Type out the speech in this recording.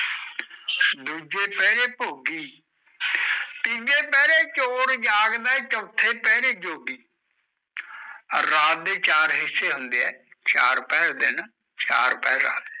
ਦੂਜੇ ਪੈਰੇ ਪਯੋਗੀ ਤੀਜੇ ਪੈਰੇ ਚੋਰ ਜਾਗਦਾ ਏ ਜੋਗੀ ਰਾਤ ਤੇ ਜਚਾਰ ਹਿਸੇ ਹੁੰਦੇ ਆ ਚਾਰ ਪੈਰੇ